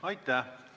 Aitäh!